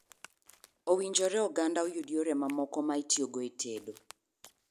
Owinjore oganda oyud yore mamoko mag itiyo go e tedo.